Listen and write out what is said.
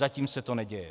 Zatím se to neděje.